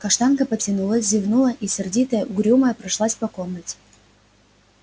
каштанка потянулась зевнула и сердитая угрюмая прошлась по комнате